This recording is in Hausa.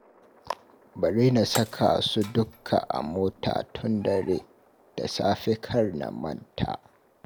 Bari na saka su dukka a mota tun dare, da safe kar na manta